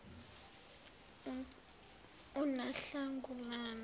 unahlangulana